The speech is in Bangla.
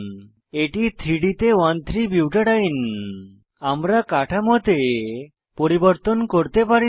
এটি 3ডি তে 13বুটাডিন আমরা কাঠামোতে পরিবর্তন করতে পারি না